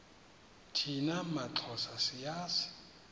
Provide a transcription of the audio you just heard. thina maxhosa siyazi